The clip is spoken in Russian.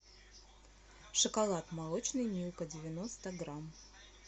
шоколад молочный милка девяносто грамм